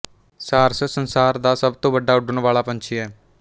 ਸਾਰਸ ਸੰਸਾਰ ਦਾ ਸਭ ਤੋਂ ਵੱਡਾ ਉੱਡਣ ਵਾਲਾ ਪੰਛੀ ਹੈ